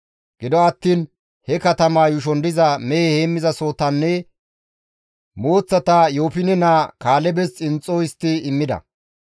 Gido attiin he katama yuushon diza mehe heenththasohotanne mooththata Yoofine naa Kaalebes xinxxo histti immida.